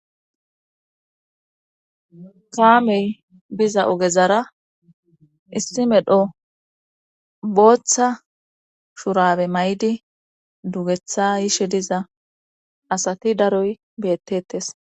Kaamey biza ogezara issi medho booththa shurabe may7di dugeththa yishe diza asati daroy beyettetes